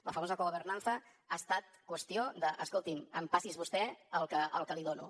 la famosa cogovernanza ha estat qüestió de escoltin empassi’s vostè el que li dono